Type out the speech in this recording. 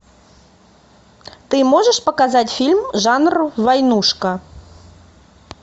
ты можешь показать фильм жанр войнушка